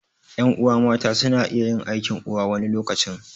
Ƴan'uwa mata suna iya yin aikin uwa wani lokacin